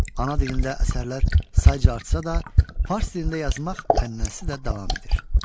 Ana dilində əsərlər sayıca artsa da, fars dilində yazmaq ənənəsi də davam edir.